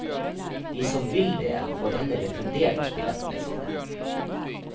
De som vil det, får heller refundert billettene sine.